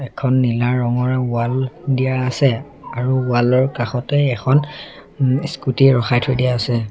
এখন নীলা ৰঙৰ ৱাল দিয়া আছে আৰু ওৱাল ৰ কাষতে এখন ওম স্কুটী ৰখাই থৈ দিয়া আছে।